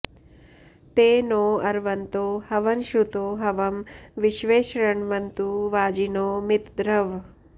ते नो अर्वन्तो हवनश्रुतो हवं विश्वे शृण्वन्तु वाजिनो मितद्रवः